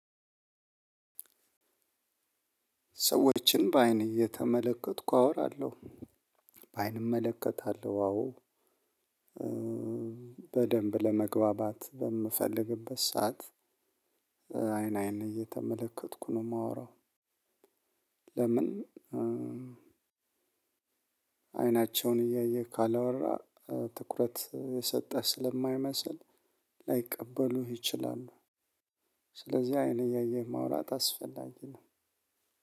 ሰዎችን በአይን እየተመለከትኩ አወራለሁ። አይን እመለከታለሁ አዎ። በደንብ ለመግባባት በምፈልግበት ሰዓት አይን አይን እየተመለከትኩ ነው የማወራው። ለምን አይናቸውን እያየህ ካላወራህ ትኩረት የሰጠህ ስለማይመስል ላይቀበሉህ ይችላሉ። ስለዚህ አይን እያየህ ማውራት አስፈላጊ ነው።